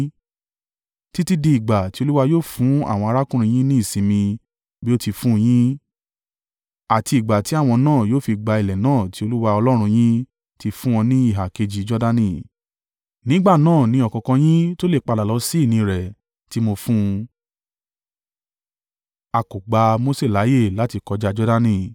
títí di ìgbà tí Olúwa yóò fún àwọn arákùnrin yín ní ìsinmi bí ó ti fún un yín, àti ìgbà tí àwọn náà yóò fi gba ilẹ̀ náà tí Olúwa Ọlọ́run yín ti fún wọn ní ìhà kejì Jordani. Nígbà náà ni ọ̀kọ̀ọ̀kan yín tó lè padà lọ sí ìní rẹ̀ tí mo fún un.”